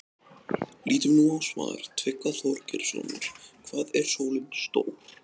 Lítum nú á svar Tryggva Þorgeirssonar, Hvað er sólin stór?